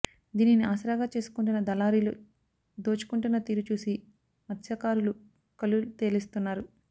దీనిని ఆసరాగా చేసుకుం టున్న దళారీలు దోచుకుంటున్న తీరు చూసి మత్స్యకారులు కళ్ళుతేలేస్తున్నారు